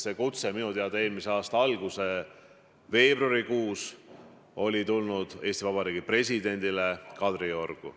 See kutse tuli minu teada eelmise aasta veebruarikuus Eesti Vabariigi presidendile Kadriorgu.